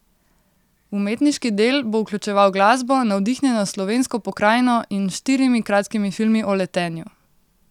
Umetniški del bo vključeval glasbo, navdihnjeno s slovensko pokrajino in štirimi kratkimi filmi o letenju.